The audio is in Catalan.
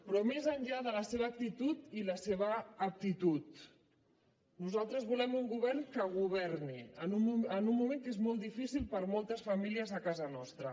però més enllà de la seva actitud i la seva aptitud nosaltres volem un govern que governi en un moment que és molt difícil per a moltes famílies a casa nostra